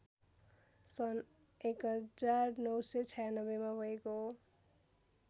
सन् १९९६ मा भएको हो